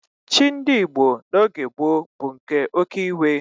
Chi ndị Igbo n'oge gboo bụ nke oke iwe.